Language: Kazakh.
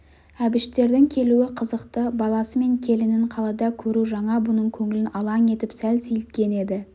әбіштердің келуі қызықты баласы мен келінін қалада көру жаңа бұның көңілін алаң етіп сәл сейілткен еді